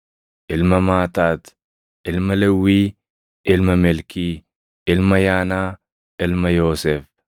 ilma Maataat, ilma Lewwii, ilma Melkii, ilma Yaanaa, ilma Yoosef,